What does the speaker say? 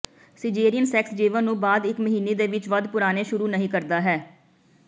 caesarean sex ਜੀਵਨ ਨੂੰ ਬਾਅਦ ਇਕ ਮਹੀਨੇ ਦੇ ਵਿਚ ਵੱਧ ਪੁਰਾਣੇ ਸ਼ੁਰੂ ਨਹੀ ਕਰਦਾ ਹੈ